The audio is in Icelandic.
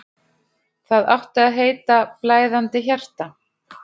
Það átti að heita: Blæðandi hjarta.